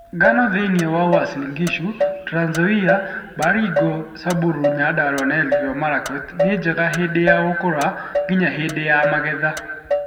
Ngano thi͂ini͂ wa Uasin Gishu, Trans Nzoia, Baringo, Samburu, Nyandarua na Elgeyo Marakwet ni͂ njega hi͂ndi͂ ya gu͂ku͂ra nginya hi͂ndi͂ ya magetha.